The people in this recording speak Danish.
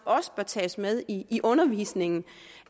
også tages med i i undervisningen